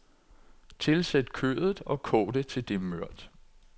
Tilsæt kødet og kog det til det er mørt.